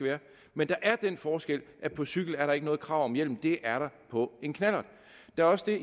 men der er den forskel at på cykel er der ikke noget krav om hjelm det er der på en knallert der er også